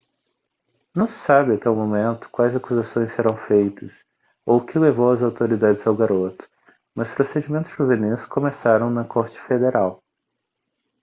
não se sabe até o momento quais acusações serão feitas ou o que levou as autoridades ao garoto mas procedimentos juvenis começaram na corte federal